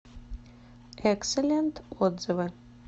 экселент отзывы